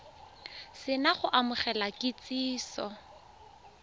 se na go amogela kitsiso